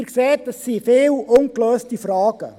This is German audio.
Sie sehen, es sind viele ungelöste Fragen.